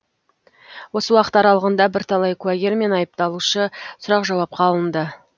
осы уақыт аралығында бірталай куәгер мен айыпталушы сұрақ жауапқа алынды